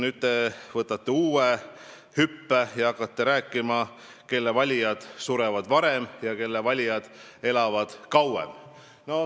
Nüüd te teete uue hüppe ja hakkate rääkima, kelle valijad surevad varem ja kelle valijad elavad kauem.